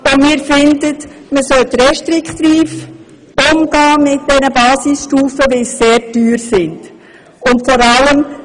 Wir finden, man sollte restriktiv mit den Basisstufen umgehen, weil sie sehr teuer sind.